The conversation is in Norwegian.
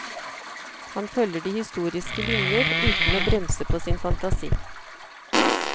Han følger de historiske linjer, uten å bremse på sin fantasi.